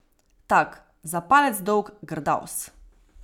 Tak, za palec dolg grdavs.